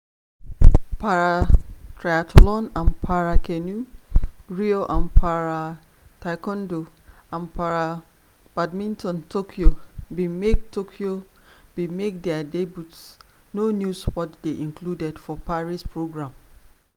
para-triathlon and para-canoe (rio) and para-taekwondo and para-badminton (tokyo) bin make (tokyo) bin make dia debuts no new sports dey included for paris programme.